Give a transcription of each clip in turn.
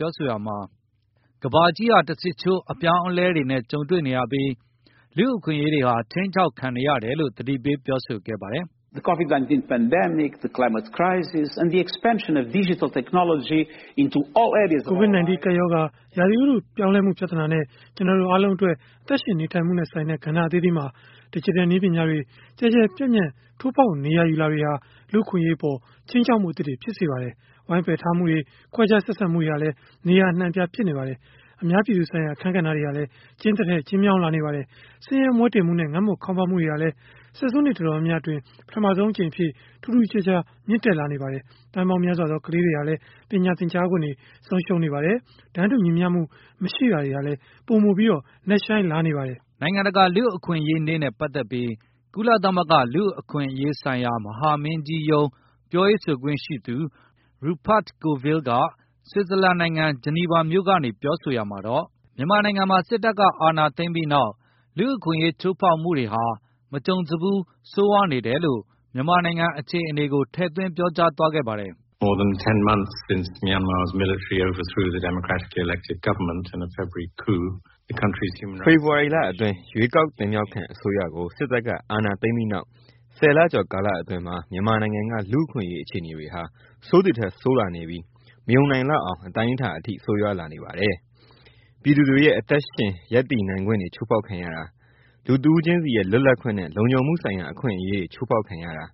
ြောဆိုရာမှာ ကမ္ဘာကြီးဟာတဆစ်ချိုးအပြောင်းအလဲတွေနဲ့ကြုံံတွေနေရ ပြီးလူ့အခွင့်အရေးတွေဟာခြိမ်းခြောက်ခံနေရတယ်လို့သတိပေးပြောဆိုခဲ့ပါတယ်။ “ကိုဗစ် ၁၉ ကပ်ရောဂါ၊ ရာသီဥတုအပြောင်းလဲလာမှုပြဿနာနဲ့ ကျနော်တို့အားလုံးရဲ့ အသက် ရှင်နေထိုင်မှုနဲ့ဆိုင်တဲ့ ကဏ္ဍအသီးသီးမှာ ဒယ်ဂျစ်တယ်နည်းပညာတွေ ကျယ်ကျယ် ပြန့်ပြန့် ထိုးဖေါက်နေရာယူလာတာတွေဟာ လူ့အခွင့်အရေးအပေါ်မှာ ခြိမ်းခြောက်မှုအသစ်တွေကို ဖြစ်ပေါ်စေပါတယ်။ ဝိုင်းပါယ်ထားမှုတွေ၊ခွဲခြားဆက်ဆံမှုတွေ ဟာလည်းနေရာအနှံအများ အပြားဖြစ်ပေါ်နေပါတယ်။ အများပြည်သူဆိုင်ရာ အခန်းကဏ္ဍဟာ ကျဉ်းသည်ထက်ကျဉ်းလာ နေပါတယ်။ ဆင်းရဲမွဲတေမှုနဲ့ ငတ်မွတ်ခေါင်းပါးမှုတွေဟာလည်း ဆယ်ဆုနှစ်အတော်များများ အတွင်းပထမဆုံးအကြိမ်အဖြစ်ထူးထူးခြားခြားမြင့်တက်နေပါတယ်။ သန်းပေါင်းများစွာသော ခလေးငယ်တွေဟာ ပညာသင်ကြားခွင့်ဆုံးရှုံးနေပါတယ်။ တန်းတူညီမျှမှုမရှိတာတွေဟာလည် ပိုမိုနက်ရှိုင်းလာနေပါတယ်” နိုင်ငံတကာလူ့အခွင့်အရေးနေ့နဲ့ပတ်သက်ပြီး ကုလသမဂ္ဂလူ့အခွင့်အရေး ဆိုင်ရာမဟာမင်းကြီးရုံးပြောရေးဆိုခွင့်ရှိသူRupert Colville က ဆွစ်ဇာလန် နိုင်ငံ ဂျနီဗာမြို့ကနေ ပြောဆိုရာမှာတော့။ မြန်မာနိုင်ငံမှာ စစ်တပ်ကအာဏာသိမ်းပြီးနောက် လူ့အခွင့်အရေးချိုးဖေါက်မှုတွေဟာ မကြုံစဖူးဆိုးဝါးနေတယ်လို့ မြန်မာနိုင်ငံအခြေအနေကိုထည့်သွင်းပြောကြားသွားခဲ့ပါတယ်။ “ဖေဖေါ်ဝါရီလအတွင်း ရွေးကောက်ခံအစိုးရကို စစ်တပ်ကအာဏာသိမ်းပြီးနောက် ၁၀ ကျော်ကာလအတွင်း မြန်မာနိုင်ငံကလူ့အခွင့်အရေးအခြေအနေတွေဟာ ဆိုးသည်ထက်ဆိုးလာနေပြီး မယုံနိုင်လောက်တဲ့ အတိုင်းအတာအထိဆိုးရွားလာနေပါတယ်။ ပြည်သူတွေ ရဲ့အသက်ရှင်ရပ်တည်နိုင်ခွင့်တွေချိုးဖေါက်ခံရတာ၊ လူတဦးခြင်းစီရဲ့လွတ်လပ်ခွင့်နဲ့ လုံခြုံမှုဆိုင်ရာအခွင့်အရေးတွေချိုးဖေါက်ခံရတာ၊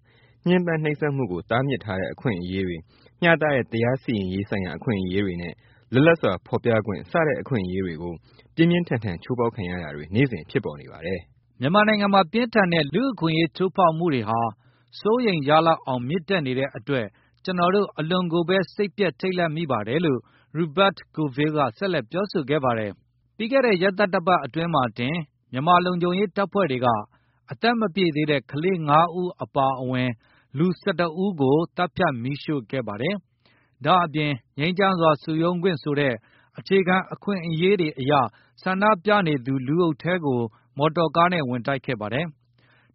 ညှင်းပန်းနှိပ်စက်မှုကိုတားမြစ်ထားတဲ့အခွင့် အရေးတွေ၊ မျှတတဲ့တရားစီရင်ရေးဆိုင်ရာအခွင့်အရေးတွေနဲ့ လွတ်လပ်စွာဖေါ်ပြခွင့်စတဲ့ အခွင့်အရေးတွေကို ပြင်းပြင်းထန်ထန် ချိုးဖေါက်ခံရတာတွေနေ့စဉ်ဖြစ်ပေါ်နေပါတယ်။” မြန်မာနိုင်ငံမှာပြင်းထန်တဲ့လူ့အခွင့်အရေးချိုးဖေါက်မှု တွေကို စိုးရိမ်ရလောက်အောင်မြင်တက်နေတဲ့ အတွက်ကျနော်တို့ အလွန်ကိုဘဲစိတ်ပျက်ထိတ်လန့်မိပါတယ် လို့ Rupert Colville ကဆက်လက် ပြောဆိုခဲ့ပါတယ်။ ဒီသီတင်းပတ် အစောပိုင်းမှာပဲ စစ်ကိုင်းတိုင်း ဆားလင်းကြီးမြို့နယ်မှာ မြန်မာလုံခြုံရေးတပ်ဖွဲ့တွေက အရွယ်မရောက်သေးသူ ၅ ဦးအပါအဝင်လူ ၁၁ ဦးကို သတ်ဖြတ်မီးရှို့ခဲ့တာ ရန်ကုန်မြို့မှာ ငြိမ်းချမ်းစွာ ဆန္ဒပြနေသူ လူအုပ်ထဲကို မော်တော်ကားနဲ့ ဝင်တိုက်ခဲ့တာ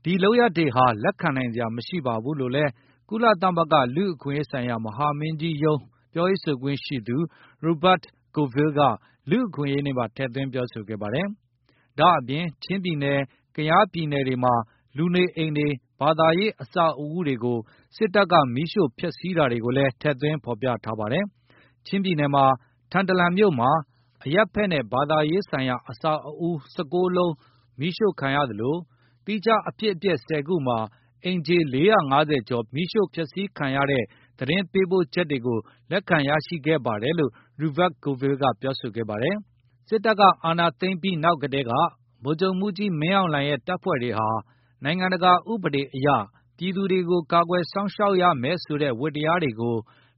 တွေဟာ လက်ခံနိုင်စရာမရှိဘူးလို့လည်း ကုလသမဂ္ဂလူ့အခွင့် အရေးဆိုင်ရာမဟာမင်းကြီးရုံး ပြောရေးဆိုခွင့်ရှိသူ Rupert Colviflle က လူအခွင့်ရေးနေ့မှာ ထည့်သွင်းပြောဆိုခဲ့သလို၊ ချင်းပြည်နယ်၊ကယားပြည်နယ်တွေမှာ လူနေအိမ်တွေ၊ ဘာသာရေး အဆောက်အဦး တွေကို စစ်တပ်ကမီးရှိုဖျက်စီးတာတွေကိုလည်း ထည့်သွင်းဖေါ်ပြထားပါတယ်။ ချင်းပြည်နယ်မှာ ထန်တလန်မြို့မှာ အရပ်ဖက်နဲ့ ဘာသာရေးဆိုင်ရာအဆောက်အဦး ၁၉ ခုမီးရှို့ခံရသလို၊ သီးခြားအဖြစ်အပျက် ၁၀ ခုမှာ အိမ်ခြေ ၄၅၀ ကျော်ဖျက်စီးခံရတဲ့ သတင်း ပေးပို့ချက်တွေကိုလက်ခံရရှိခဲ့တယ်လို့ Ruper Coviflle ကပြောဆိုပါတယ်။ စစ်တပ်ကအာဏာသိမ်းပြီးနောက်ကတည်းက ဗိုလ်ချုပ်မှုးကြီးမင်းအောင်လှိုင် ရဲ့ တပ်ဖွဲ့ တွေဟာ နိုင်ငံတကာအဥပဒေတွေအရ ပြည်သူတွေကိုကာကွယ်စောင့်ရှောက်ရမယ်ဆိုတဲ့ ဝတ္တရားတွေကို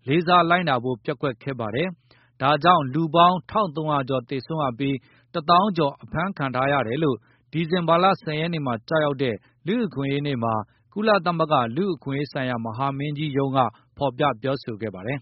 လေစားလိုက်နာဖို့ပျက်ကွက်ခဲ့ပါတယ်။ ဒါကြောင့် လူပေါင်း ၁၃၀၀ ကျော်သေ ဆုံးရပြီး လူ ၁ သောင်းကျော်အဖမ်းခံထားရတယ်လို့ ဒီဇင်ဘာလ ၁၀ ရက်နေ့မှာကျ ရောက်တဲ့ လူ့အခွင့်အရေးနေ့မှာ ကုလသမဂ္ဂလူ့အခွင့်အရေးမဟာမင်းကြီးရုံးကဖေါ်ပြပြောဆိုခဲ့ပါတယ်။